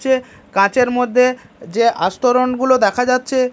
যে কাচের মধ্যে যে আস্তরণগুলো দেখা যাচ্ছে--